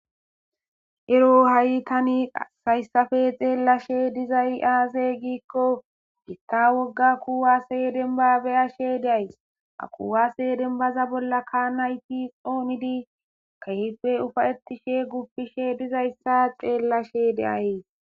ero ha7i tani sayssafe xeellashe dizay aazey giikko hitta wogga kuwase den babeyashe days akuwasedenbaza bolla ka nayti oonidi kehife ufa ettishe guppishe dizayssa xeellashe deayys